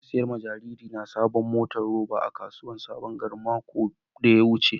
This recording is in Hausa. Na saya wa jaririna saɓuwar motar roba a kasuwar saɓon gari maƙon da ya wuce.